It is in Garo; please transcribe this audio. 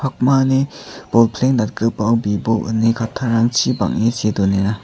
pakmani bolpleng datgipao bibo ine kattarangchi bang·e see donenga.